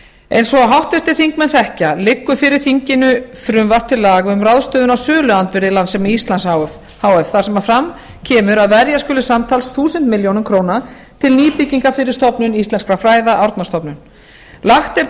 eins og háttvirtir þingmenn þekkja liggur fyrir þinginu frumvarp til laga um ráðstöfun á söluandvirði landssíma íslands h f þar sem fram kemur að verja skuli samtals þúsund milljónir króna til nýbyggingar fyrir stofnun íslenskra fræða árnastofnun lagt er